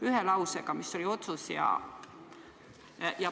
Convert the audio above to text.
Ühe lausega: mis oli otsus?